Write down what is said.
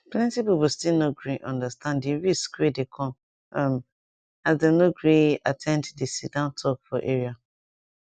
plenty people still no gree understand di risk wey de come um as dem no de gree at ten d de sitdown talk for area